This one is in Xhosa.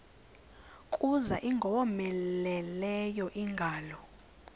kuza ingowomeleleyo ingalo